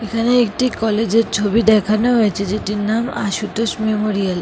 এখানে একটি কলেজ -এর ছবি দেখানো হয়েছে যেটির নাম আশুতোষ মেমোরিয়াল ।